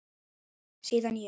Síðan ég